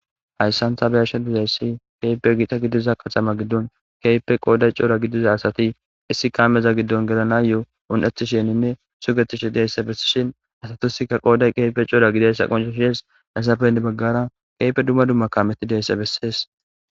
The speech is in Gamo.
hayssan ta beyashe dizayssi keepe giixa gidiza qaxama giddon keyfe qooday cora gidiza asati issi kaameza giddon gelana yoo un7etisheninne sugetishi deysse bessishin asatusikka qooday keefe cora gidayssa qoncushees hassapende baggara keype dumma dumma kameti deysse bessees